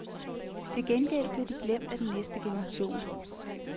Til gengæld blev de glemt af den næste generation.